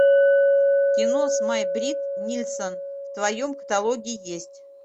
кино с май бритт нильссон в твоем каталоге есть